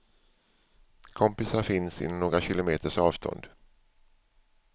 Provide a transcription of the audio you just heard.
Kompisar finns inom några kilometers avstånd.